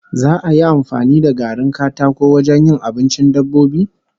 Za'a yi amfani da garin katako wajen yin abincin dabbobi?